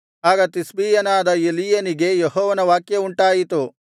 ಆಗ ತಿಷ್ಬೀಯನಾದ ಎಲೀಯನಿಗೆ ಯೆಹೋವನ ವಾಕ್ಯವುಂಟಾಯಿತು